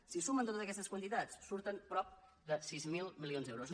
si sumen totes aquestes quantitats surten prop de sis mil milions d’euros